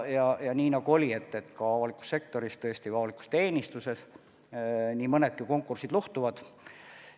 Ja nii nagu märgitud sai, ka avalikus sektoris või avalikus teenistuses nii mõnedki konkursid luhtuvad.